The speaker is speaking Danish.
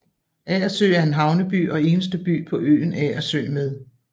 Agersø er en havneby og eneste by på øen Agersø med